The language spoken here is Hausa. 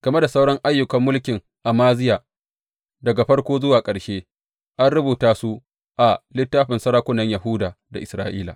Game da sauran ayyukan mulkin Amaziya, daga farko zuwa ƙarshe, an rubuta su a littafin sarakunan Yahuda da Isra’ila.